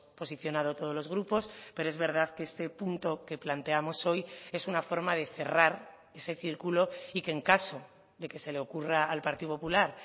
posicionado todos los grupos pero es verdad que este punto que planteamos hoy es una forma de cerrar ese círculo y que en caso de que se le ocurra al partido popular